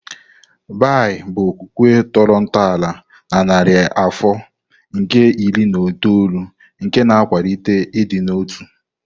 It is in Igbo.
Baha'i bụ okwukwe tọrọ ntọala na narị afọ nke iri na itoolu nke na-akwalite ịdị n'otu.